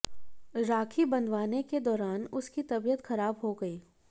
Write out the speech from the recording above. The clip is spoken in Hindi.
राखी बंधवाने के दौरान उसकी तबीयत खराब हो गई